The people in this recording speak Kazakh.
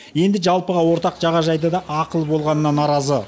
енді жалпыға ортақ жағажайдың да ақылы болғанына наразы